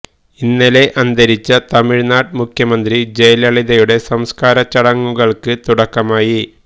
ഇന്നലെ അന്തരിച്ച തമിഴ്നാട് മുഖ്യമന്ത്രി ജയലളിതയുടെ സംസ്കാര ചടങ്ങുകള്ക്ക് തുടക്കമായി